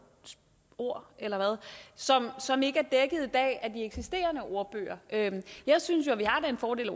ord eller hvad som ikke er dækket i dag af de eksisterende ordbøger jeg synes jo at vi har den fordel at